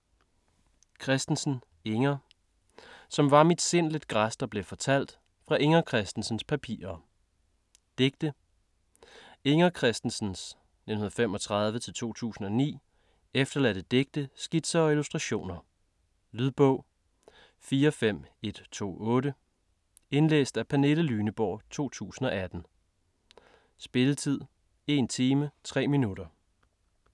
Christensen, Inger: Som var mit sind lidt græs der blev fortalt: fra Inger Christensens papirer Digte. Inger Christensens (1935-2009) efterladte digte, skitser og illustrationer. Lydbog 45128 Indlæst af Pernille Lyneborg, 2018. Spilletid: 1 time, 3 minutter.